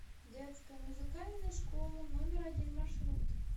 детская музыкальная школа номер один маршрут